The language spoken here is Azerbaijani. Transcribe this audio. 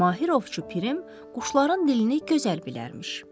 Mahir ovçu Pirim quşların dilini gözəl bilərmiş.